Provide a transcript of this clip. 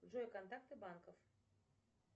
джой контакты банков